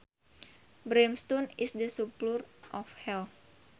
Brimstone is the sulphur of Hell